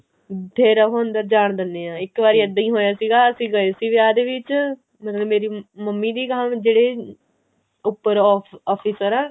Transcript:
ਫੇਰ ਉਹ ਅੰਦਰ ਜਾਣ ਦਿੰਦੇ ਨੇ ਇੱਕ ਵਾਰੀ ਇੱਦਾਂ ਹੀ ਹੋਈਆਂ ਸੀਗਾ ਅਸੀਂ ਗਏ ਸੀਗੇ ਵਿਆਹ ਦੇ ਵਿੱਚ ਮਤਲਬ ਕਿ ਮੇਰੀ ਮੰਮੀ ਦੀ ਗਹਾਂ ਜਿਹੜੇ ਉੱਪਰ officer ਹੈ